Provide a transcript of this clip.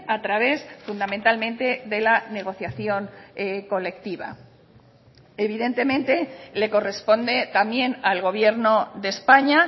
a través fundamentalmente de la negociación colectiva evidentemente le corresponde también al gobierno de españa